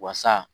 Wasa